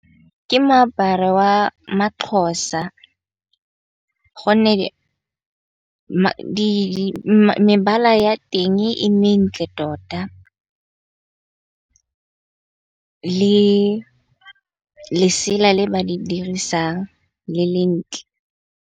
Ke moaparo wa maxhosa gonne mebala ya teng e mentle tota, le lesela le ba di dirisang le le ntle.